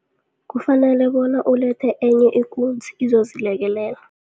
Kufanele bona ulethe enye ikunzi izozilekelela.